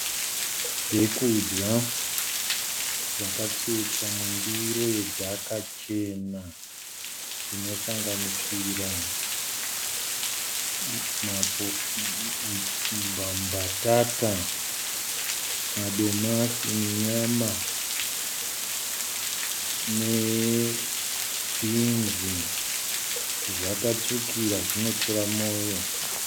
Zvekudya zvakatsvetwa mundiro yedhaka chena, zvinosanganisira mbatata, madomasi nenyama nebhinzi zvakatsvukira zvinotora moyo.